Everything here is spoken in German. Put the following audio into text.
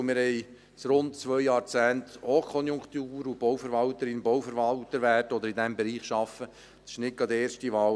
Wir haben seit rund zwei Jahrzehnten Hochkonjunktur, und Bauverwalterin oder Bauverwalter zu werden, oder in diesem Bereich zu arbeiten, ist nicht gerade die erste Wahl.